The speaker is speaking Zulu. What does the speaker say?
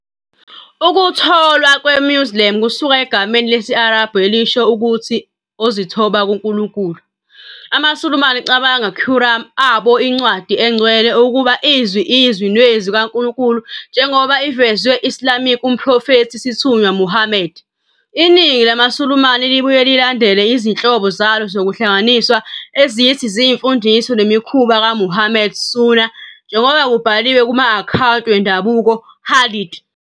Ukutholwa kwe- "Muslim" kusuka egameni lesi- Arabhu elisho ukuthi "ozithoba, kuNkulunkulu". AmaSulumane cabanga Quran, abo incwadi engcwele, ukuba izwi izwi nezwi ka Nkulunkulu njengoba ivezwe Islamic umprofethi isithunywa Muhammad. Iningi lamaSulumane libuye lilandele izinhlobo zalo zokuhlanganiswa ezithi ziyizimfundiso nemikhuba kaMuhammad, "sunnah", njengoba kubhaliwe kuma-akhawunti wendabuko, "hadith".